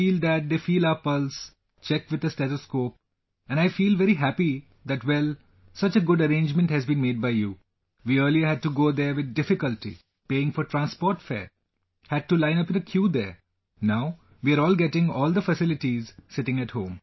I feel that they feel our pulse, check with a stethoscope, and I feel very happy that well...Such a good arrangement has been made by you... We earlier had to go there with difficulty, paying for transport fare...Had to line up in a queue there...Now, we are getting all the facilities sitting at home